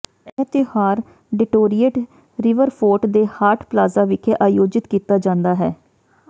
ਇਹ ਤਿਉਹਾਰ Detroit Riverfront ਦੇ ਹਾਟ ਪਲਾਜ਼ਾ ਵਿਖੇ ਆਯੋਜਿਤ ਕੀਤਾ ਜਾਂਦਾ ਹੈ